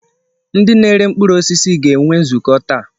Ndị na-ere mkpụrụ osisi ga-enwe nzukọ taa.